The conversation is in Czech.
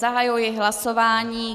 Zahajuji hlasování.